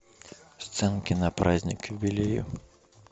сценки на праздник к юбилею